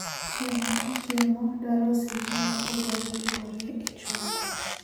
Chiemo ka chiemo dwaro seche mopogoreopogore e chweko